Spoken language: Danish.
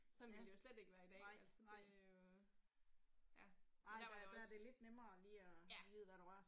Sådan ville det jo slet ikke være i dag altså det jo. Ja, men der var det også. Ja